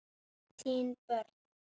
Þín börn.